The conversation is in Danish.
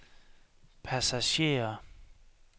passagerer